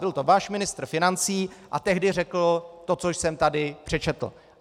Byl to váš ministr financí a tehdy řekl to, co jsem tady přečetl.